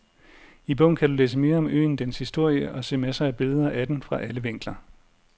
I bogen kan du læse mere om øen, dens historie og se masser af billeder af den fra alle vinkler.